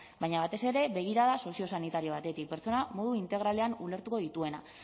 baina batez ere begirada soziosanitario batetik pertsona modu integralean ulertuko dituena